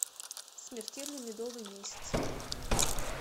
смертельный медовый месяц